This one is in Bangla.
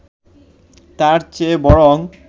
তার চেয়ে বরং